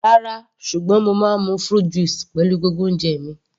Rárá, ṣùgbọ́n mo máa ń mu fruit juice pẹ̀lú gbogbo oúnjẹ mi.